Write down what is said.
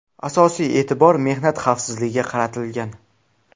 Asosiy e’tibor mehnat xavfsizligiga qaratilgan.